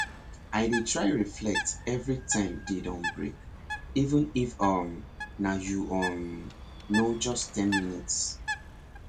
i dey try reflect every time day don break even if um na you um know just ten minutes